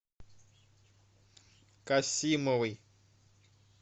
касимовой